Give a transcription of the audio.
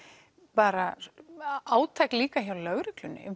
bara átak líka hjá lögreglunni um